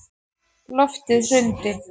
Loftið hrundi.